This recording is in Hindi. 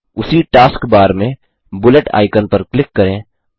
उसी टास्क बार में बुलेट आइकन पर क्लिक करें